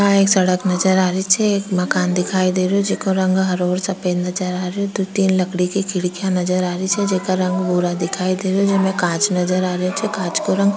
यहाँ एक सड़क नजर आ रही छे एक मकान दिखाई दे रही छे जेको रंग हरा और सफ़ेद नजर आ रही दो तीन लकड़ी के खिड़कीया नजर आ रही छे जेको रंग भूरा दिखाई दे रही छे जेमा कांच नजर आ रही छे कांच को रंग --